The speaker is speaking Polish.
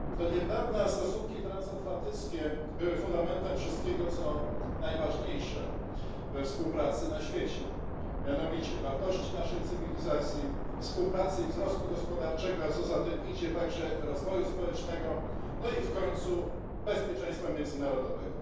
Do niedawna stosunki transatlantyckie były fundamentem wszystkiego co najważniejsze we współpracy na świecie, mianowicie wartości naszej cywilizacji, współpracy i wzrostu gospodarczego, a co za tym idzie także rozwoju społecznego, no i w końcu bezpieczeństwa międzynarodowego.